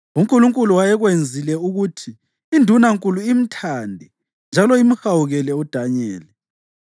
UNkulunkulu wayekwenzile ukuthi Indunankulu imthande njalo imhawukele uDanyeli,